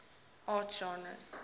art genres